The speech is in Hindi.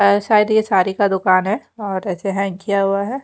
और शायद यह साड़ी का दुकान है और ऐसे हैंड किया गया है।